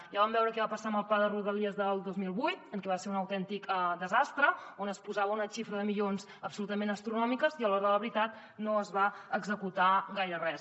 ja vam veure què va passar amb el pla de rodalies del dos mil vuit que va ser un autèntic desastre on es posava una xifra de milions absolutament astronòmica i a l’hora de la veritat no es va executar gaire res